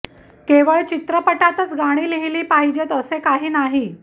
केवळ चित्रपटातच गाणी लिहिली पाहिजेत असे काही नाही